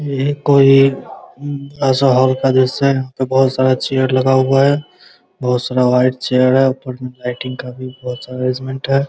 ये कोई ऐसा हॉल का दृश्य है बहुत सारा चेयर लगा हुआ है | बहुत सारा व्हाइट चेयर है ऊपर मे लाइटिंग का भी बहुत सारा अरेजमेंट है ।